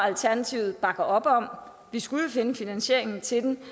alternativet bakker op om og vi skulle jo finde finansieringen til dem